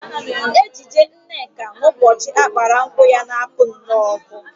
Ejiji Nneka n'ụbọchị a gbara nkwụ ya na-apụ nnọọ ọkụ